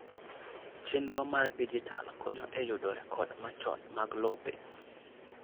chenro mar dijital konyo e yudo rekod machon mag lope.